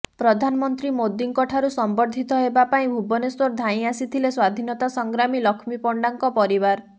ପ୍ରଧାନମନ୍ତ୍ରୀ ମୋଦିଙ୍କ ଠାରୁ ସମ୍ବର୍ଦ୍ଧିତ ହେବା ପାଇଁ ଭୁବନେଶ୍ୱର ଧାଇଁ ଆସିଥିଲେ ସ୍ୱାଧିନତା ସଂଗ୍ରାମୀ ଲକ୍ଷ୍ମୀ ପଣ୍ଡାଙ୍କ ପରିବାର